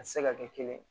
A tɛ se ka kɛ kelen ye